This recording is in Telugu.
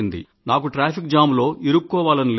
నాకు ట్రాఫిక్ జామ్ లో ఇరుక్కోవాలని లేదు